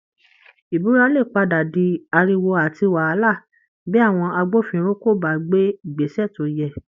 Ìbúra lè padà di ariwo àti wàhálà bí àwọn agbófinró kò bá gbé Ìgbésẹ̀ tó yẹ